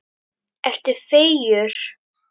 Ertu feigur?